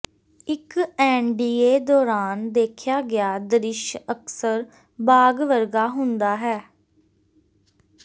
ਇੱਕ ਐਨਡੀਏ ਦੌਰਾਨ ਦੇਖਿਆ ਗਿਆ ਦ੍ਰਿਸ਼ ਅਕਸਰ ਬਾਗ਼ ਵਰਗਾ ਹੁੰਦਾ ਹੈ